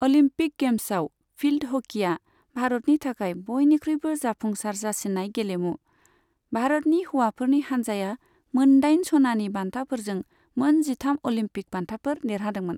Olympic गेम्सआव field हकीया भारतनि थाखाय बयनिख्रुयबो जाफुंसार जासिन्नाय गेलेमु, भारतनि हौवाफोरनि हानजाया मोन दाइन सनानि बान्थाफोरजों मोन जिथाम अलिम्पिक बान्थाफोर देरहादोंमोन।